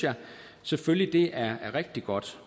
selvfølgelig at det er rigtig godt